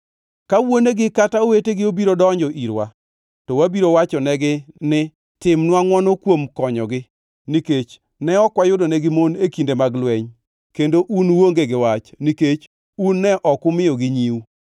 Ka wuonegi kata owetegi obiro donjo irwa, to wabiro wachonegi ni, ‘Timnwa ngʼwono kuom konyogi, nikech ne ok wayudonegi mon e kinde mag lweny, kendo un uonge gi wach, nikech un ne ok umiyogi nyiu.’ ”